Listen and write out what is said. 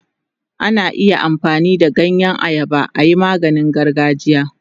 Ana iya amfani da ganyen ayaba ayi maganin gargajiya.